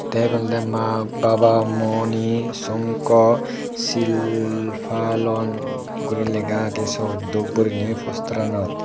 te egun olode maa babamoni sanko shilpalon gori lega agey sot dup gorine posteranot.